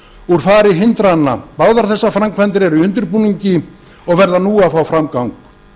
úr fari hindrana báðar þessar framkvæmdir eru í undirbúningi og verða nú að fá framgang